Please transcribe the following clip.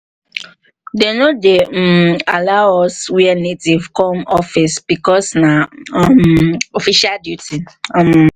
they no um dey allow us wear native come office because nah um official duty um